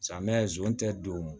Samiya zon tɛ don